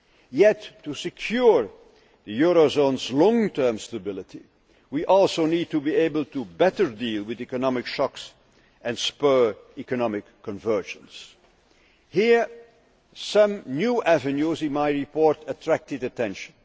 Yet to secure the eurozone's long term stability, we also need to be able to better deal with economic shocks and spur economic convergence. Here, some new avenues in my report attracted attention.